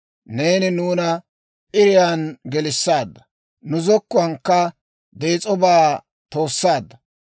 Neeni nuuna p'iriyaan gelissaadda. Nu zokkuwaankka dees'obaa toossaadda.